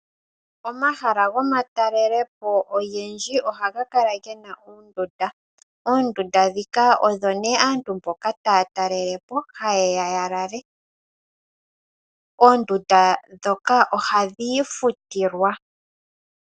Omahala gomatalelepo ogendji ogena oondunda. Oondunda ndhoka odho hadhi lalwa kaantu mboka taye ya ya talele po. Oondunda ndhoka ohadhi futilwa.